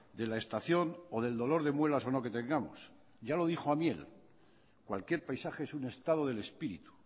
de la estación o del dolor de muelas o no que tengamos ya lo dijo amiel cualquier paisaje es un estado del espíritu